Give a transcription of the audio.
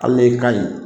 Hali n'e ka ɲi